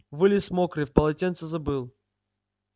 вылез мокрый в полотенце забыл